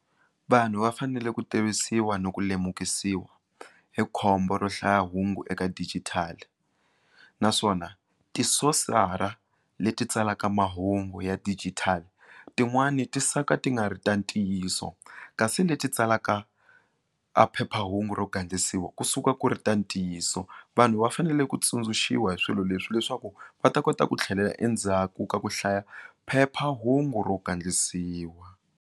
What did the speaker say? Vanhu va fanele ku tivisiwa ni ku lemukisiwa hi khombo ro hlaya hungu eka dijithali naswona ti source-ra leti tsalaka mahungu ya digital tin'wani ti suka ti nga ri ta ntiyiso kasi leti tsalaka a phephahungu ro gandlisiwa kusuka ku ri ta ntiyiso vanhu va fanele ku tsundzuxiwa hi swilo leswi leswaku va ta kota ku tlhelela endzhaku ka ku hlaya phephahungu ro gandlisiwa.